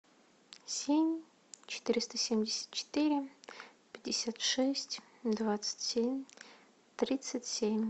семь четыреста семьдесят четыре пятьдесят шесть двадцать семь тридцать семь